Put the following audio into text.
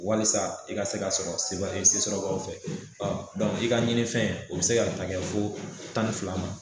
Walisa i ka se k'a sɔrɔ sɔrɔbaaw fɛ i ka ɲini fɛn o bɛ se ka ta kɛ fo tan ni fila ma.